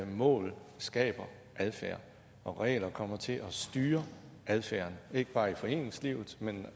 mål skaber adfærd og regler kommer til at styre adfærden ikke bare i foreningslivet men